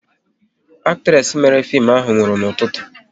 Actres mere fim ahụ nwụrụ n'ụtụtụ taa